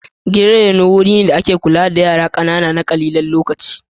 Gidan raino, wuri ne da ake kula da yara ƙanana na ƙalilan lokaci.